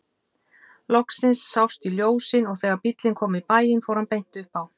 Loksins sást í ljósin og þegar bíllinn kom í bæinn fór hann beint upp á